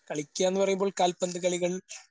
കളിക്കാന് പറയുമ്പോൾ കാൽപ്പന്തു കളികൾ